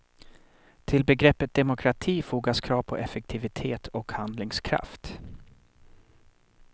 Till begreppet demokrati fogas krav på effektivitet och handlingskraft.